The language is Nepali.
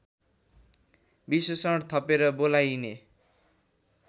विशेषण थपेर बोलाइने